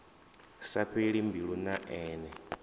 sa fheli mbilu naho ene